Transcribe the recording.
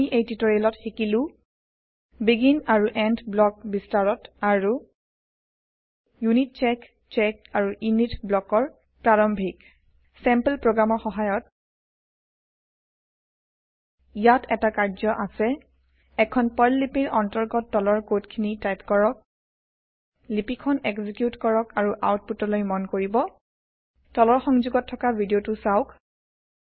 আমি এই টিউটৰিয়েলত শিকিলো বেগিন আৰু এণ্ড ব্লক বিস্তাৰত আৰু য়িউনিতচেক চেক আৰু ইনিত ব্লকৰ প্ৰাৰাম্ভিক চেম্পল প্ৰগ্ৰেমৰ সহায়ত ইয়াত এটা কাৰ্য্য আছে এখন পাৰ্ল লিপিৰ অন্তৰ্গত তলৰ কড খিনি টাইপ কৰক লিপি খন এক্সিকিউত কৰক আৰু আওতপুতলৈ মন কৰিব তলৰ সংযোগত থকা ভিদিয়তো চাওক